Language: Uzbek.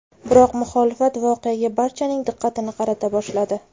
Biroq muxolifat voqeaga barchaning diqqatini qarata boshladi .